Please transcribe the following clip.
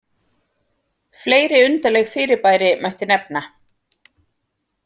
Fleiri undarleg fyrirbæri mætti nefna.